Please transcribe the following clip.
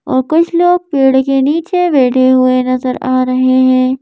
और कुछ लोग पेड़ के नीचे बैठे हुए नजर आ रहे हैं।